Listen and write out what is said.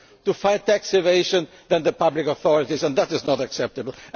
more willingness to fight tax evasion than the public authorities, and that